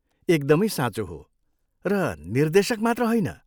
एकदमै साँचो हो, र निर्देशक मात्र होइन।